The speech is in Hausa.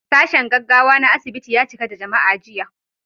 Sashen gaggawa na asibiti ya cika da jama'a jiya.